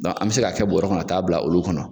Dɔn an be se ka kɛ bɔrɔ kɔnɔ ka t'a bila olu kɔnɔ